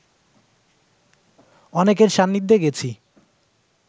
অনেকের সান্নিধ্যে গেছি